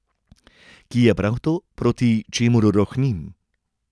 Ki je prav to, proti čemur rohnim.